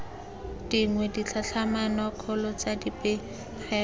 dingwe ditlhatlhamano kgolo tsa dipegelo